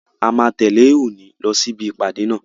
A máa tẹ̀lẹ́ Òòni lọ sí ibi ìpàdé náà.